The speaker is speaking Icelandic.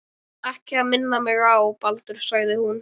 Þú þarft ekki að minna mig á Baldur sagði hún.